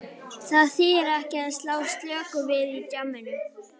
Það þýðir ekki að slá slöku við í djamminu.